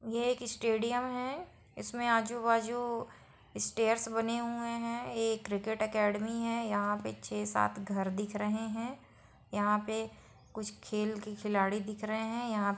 ये एक स्टेडियम है इसके आजू-बाजू स्टेट बने हुए हैं यह एक क्रिकेट एकेडमी है यहां पे कुछ छै सात घर दिख रहे यहां पे कुछ खेल के खिलाड़ी दिख रहे हैं यहाँ---